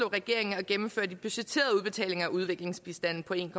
regeringen at gennemføre de budgetterede udbetalinger af udviklingsbistanden på en